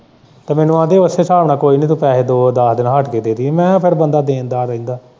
ਮੈਨੂੰ ਆਖਦੇ ਉਸੇ ਹਿਸਾਬ ਨਾਲ਼ ਕੋਈ ਨੀ ਤੂੰ ਪੈਸੇ ਦੋ-ਚਾਰ ਦਿਨ ਹਟ ਕੇ ਦੇ ਦੇਈਂ ਮੈਂ ਕਿਹਾ ਫੇਰ ਬੰਦਾ ਦੇਣਦਾਰ ਰਹਿੰਦਾ।